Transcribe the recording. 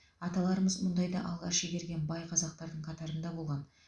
аталарымыз мұнайды алғаш игерген бай қазақтардың қатарында болған